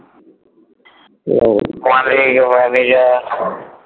Malik manager